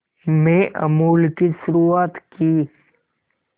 में अमूल की शुरुआत की